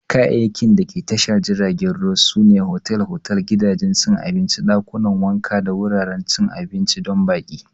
Kayayyakin dake tashar jiragen ruwa sune otal-otal, gidajen cin abinci, ɗakunan wanka da wuraren cin abinci don baƙi.